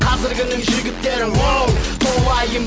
қазіргінің жігіттері уоу толайын